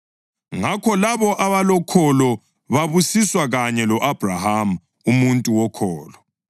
Ngakho labo abalokholo babusiswa kanye lo-Abhrahama, umuntu wokholo.